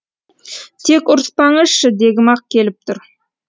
тек ұрыспаңызшы дегім ақ келіп тұр